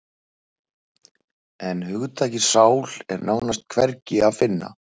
En hugtakið sál er nánast hvergi að finna.